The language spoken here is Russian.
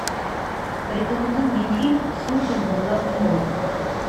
порекомендуй мне фильм с ургантом в главной роли